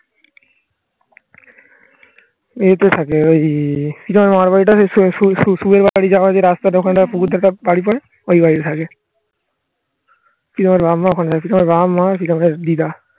ঐ তো থাকে ওই বাড়ি পরে ওঈ বাড়ি তে থাকে